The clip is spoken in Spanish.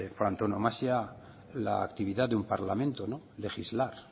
su antonomasia la actividad del un parlamento legislar